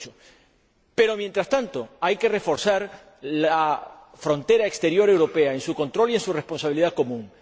2008. Pero, mientras tanto, hay que reforzar la frontera exterior europea, en su control y en su responsabilidad común.